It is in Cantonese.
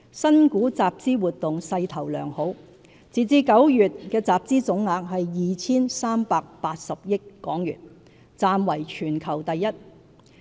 新股集資活動勢頭良好，截至9月的集資總額為 2,380 億港元，暫為全球第一。